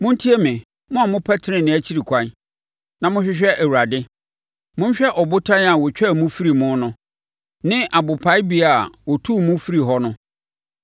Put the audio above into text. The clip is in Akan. “Montie me, mo a mopɛ tenenee akyiri kwan; na mohwehwɛ Awurade; Monhwɛ ɔbotan a wɔtwaa mo firii mu no ne abopaebea a wɔtuu mo firii hɔ no;